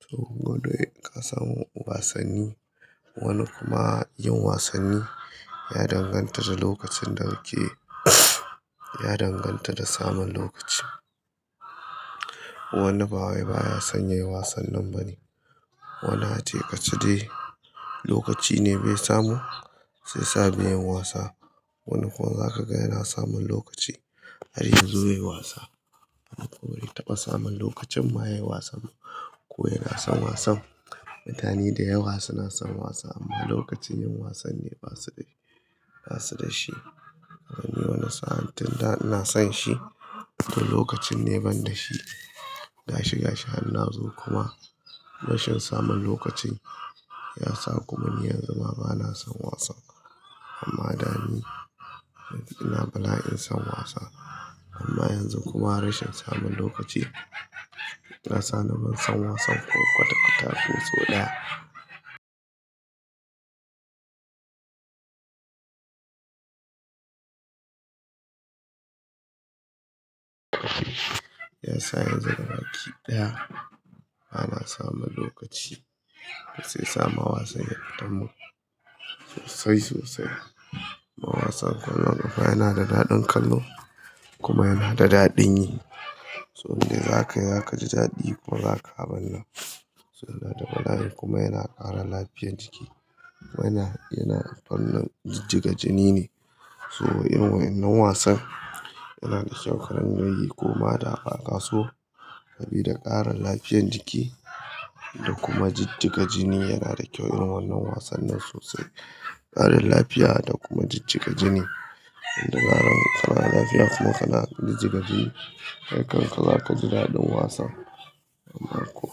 To ko doi ka sam wasanni. Wani kuma yin wasanni ya danganta da lokacin da kakeyi, ya danganta da samun lokaci. Wanni bawai baya san yayi wasannin bane wannin a ce ka ce dai lokaci ne bai samu shi ya sa bai yin wasa. Wani kuwa zaka ga yana samun lokaci har yanzu yayi wasa. Amma kuwa bare taɓa samun lokacin ma yayi wasan. Ko yana son wasan. Mutane da yawa suna son wasa amma lokacin yin wasan ne ba su da, ba su da shi. Wani wani sa'an tunda ina son shi to lokacin ne ban da shi. Ga shi ga shi han nazo kuma rashin samun lokacin ya sa kuma ni yanzu ma bana son wasan. Amma da ni ina bala'in son wasa amma yanzu kuma rashin samun lokaci ya sa ni ban son wasan ko kwata kwata fin so ɗaya. Ya sa yanzu ga baki ɗaya bana samun lokaci. Shi ya sa ma wasan ya fitamun sosai sosai. Ma wasan ƙwallon ƙafa yana da daɗin kallo kuma yana da daɗin yi. To in dai zakayi zaka ji daɗi kuma zaka abun nan. To yana da bala'i kuma yana ƙara lafiyar jiki. Wannan yana fannin jijjiga jini ne. To wai irin wannan wasan yana da kyau karingayi koma da baka so. Sabida ƙara lafiyar jiki da kuma jijjiga jini yana da kyau irin wannan wasan nan sosai. Ƙarin lafiya da kuma jijjiga jini. In da zaran ƙanada lafiya kuma kana jijjiga jini kai kan ka zaka ji daɗin wasan. Amma ko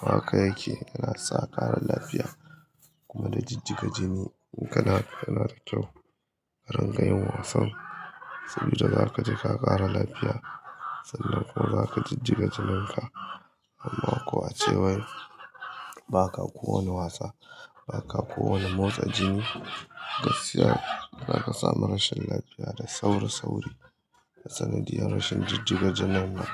haka yake yana sa ƙara lafiya kuma na jijjiga jini. In kana yana da kyau karinga yin wasan. Sabida zaka ji ka ƙara lafiya sannan kuwa zaka jijjiga jinan ka. Amma kuwa a cewan ba ka kowane wasa ba ka kowane motsa jini gaskiya zaka samu rashin lafiya da sauri sauri. Da sanadiyar rashin jijjiga jinan nan.